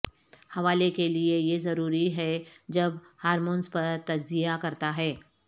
حوالے کے لئے یہ ضروری ہے جب ہارمونز پر تجزیہ کرتا ہے